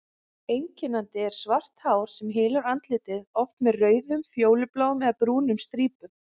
Einkennandi er svart hár sem hylur andlitið, oft með rauðum, fjólubláum eða brúnum strípum.